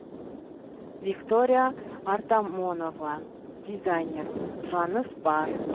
виктория артамонова дизайнер сұраныс бар